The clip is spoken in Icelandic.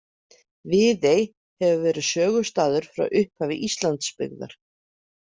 Viðey hefur verið sögustaður frá upphafi Íslandsbyggðar.